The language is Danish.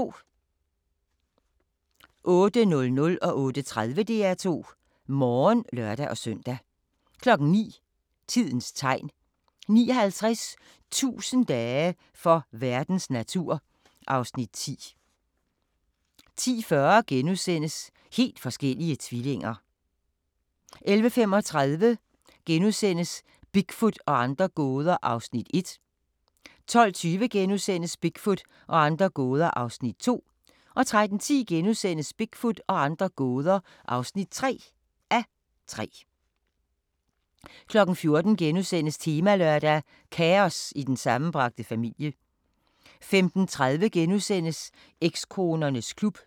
08:00: DR2 Morgen (lør-søn) 08:30: DR2 Morgen (lør-søn) 09:00: Tidens Tegn 09:50: 1000 dage for verdens natur (Afs. 10) 10:40: Helt forskellige tvillinger * 11:35: Bigfoot og andre gåder (1:3)* 12:20: Bigfoot og andre gåder (2:3)* 13:10: Bigfoot og andre gåder (3:3)* 14:00: Temalørdag: Kaos i den sammenbragte familie * 15:30: Ekskonernes klub *